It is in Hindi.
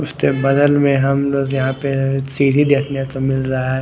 उसके बगल में हम लोग यहाँ पर सीढ़ी देखने को मिल रहा है।